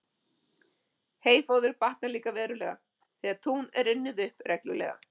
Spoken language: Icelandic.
Heyfóður batnar líka verulega, þegar tún er unnið upp reglulega.